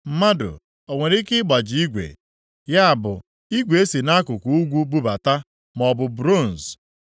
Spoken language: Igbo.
“Mmadụ o nwere ike ịgbaji igwe, ya bụ igwe e si nʼakụkụ ugwu bubata, maọbụ bronz?